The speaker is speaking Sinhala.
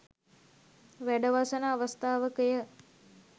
වැඩවසන අවස්ථාවකය.